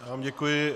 Já vám děkuji.